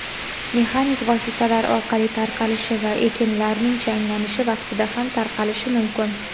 mexanik vositalar orqali tarqalishi va ekinlarning changlanishi vaqtida ham tarqalishi mumkin.